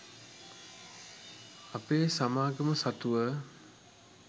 අපේ සමාගම සතුව